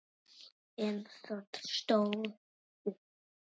En það stóð stutt.